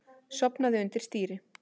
Sofnaði undir stýri